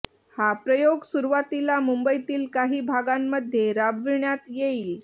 हा प्रयाेग सुरुवातीला मुंबईतील काही भागांमध्ये राबविण्यात येईल